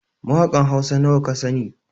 Mawakan Hausa nawa kasani?